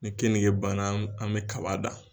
Ni keninge banna an bɛ kaba dan